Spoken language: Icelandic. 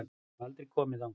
Ég hef aldrei komið þangað.